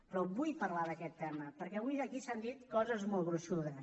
però vull parlar d’aquest tema perquè avui aquí s’han dit coses molt gruixudes